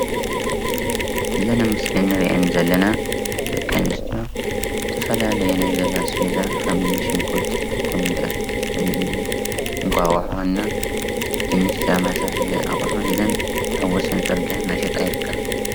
እዘን ኣብ ምስሊ እንረአን ዘለና ደቂ ኣነስትዮ ዝተፈላለየ ናይ ገዛ ኣስበዛ ከም እኒ ሽጉርቲ፣ ኮሚደረ፣ እንቋቑሖ እና ድንሽ ዝተመሳሰለ ኣቑሑ ሒዘን ኣብ ወሰን ፅርግያ እንዳሸቀጣ ይርከባ፡፡